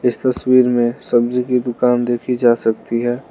इस तस्वीर में सब्जी की दुकान देखी जा सकती है।